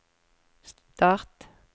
start